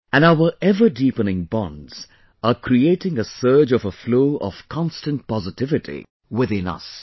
And our ever deepening bonds are creating a surge of a flow of constant positivity within us